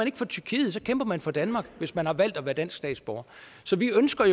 ikke for tyrkiet så kæmper man for danmark hvis man har valgt at være dansk statsborger så vi ønsker